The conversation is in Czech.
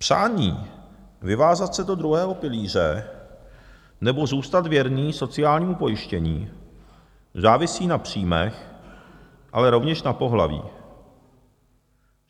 Přání vyvázat se do druhého pilíře nebo zůstat věrný sociálnímu pojištění závisí na příjmech, ale rovněž na pohlaví.